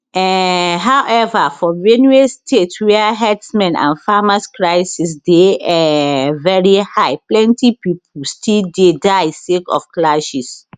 um however for benue state wia herdsmen and farmers crisis dey um veri high plenty pipo still dey die sake of clashes